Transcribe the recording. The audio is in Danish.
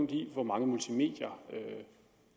i hvor mange multimedier